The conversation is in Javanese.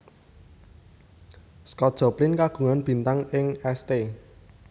Scott Joplin kagungan bintang ing St